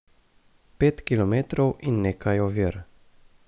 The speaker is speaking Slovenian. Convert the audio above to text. Pet kilometrov in nekaj ovir.